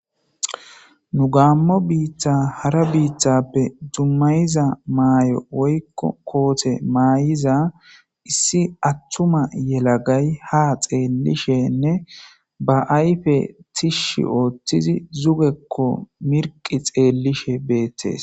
nu gaammo biitta hara biittappe dummayiza maayo woykko koote maayiza issi attuma yelagay ha xeellishenne ba ayfe tishshi ooththizi zugekko mirqi xeellishe beettes